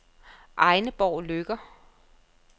Egneborg Løkker